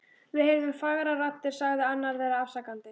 Við heyrðum fagrar raddir sagði annar þeirra afsakandi.